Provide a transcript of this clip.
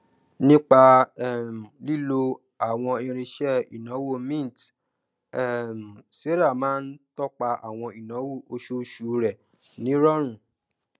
nípa um lílo àwọn irinṣẹ ìnáwó mint um sarah máa ń tọpa àwọn ináwó oṣooṣu rẹ ní ìrọrùn